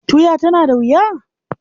Tuya tana da wuya?